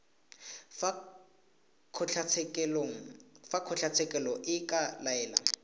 fa kgotlatshekelo e ka laela